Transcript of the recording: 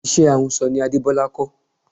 Iṣẹ́ ahunsọ ni Adebola kọ́